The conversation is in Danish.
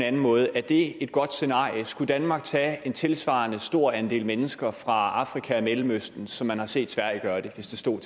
anden måde er det et godt scenarie skulle danmark tage en tilsvarende stor andel mennesker fra afrika og mellemøsten som man har set sverige gøre det hvis det stod